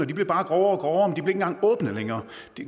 de blev bare grovere og engang åbnet længere